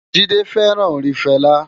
Jide fèrán órin Fela